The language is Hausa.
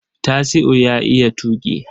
Tasiu ya iya tuƙi.